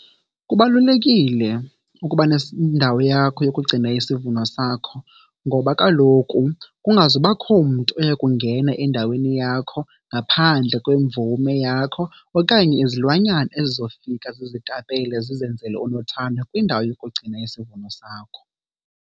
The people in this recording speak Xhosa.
Kubalulekile ukuba nendawo yakho yokugcina isivuno sakho ngoba kaloku kungazubakho mntu oya kungena endaweni yakho ngaphandle kwemvume yakho okanye izilwanyana ezizofika zizitapele zizenzele unothando kwindawo yokugcina isivuno sakho.